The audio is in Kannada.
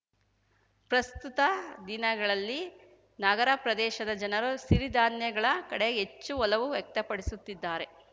ಪ್ರಸ್ತುತ ದಿನಗಳಲ್ಲಿ ನಗರ ಪ್ರದೇಶದ ಜನರು ಸಿರಿಧಾನ್ಯಗಳ ಕಡೆ ಹೆಚ್ಚು ಒಲವು ವ್ಯಕ್ತಪಡಿಸುತ್ತಿದ್ದಾರೆ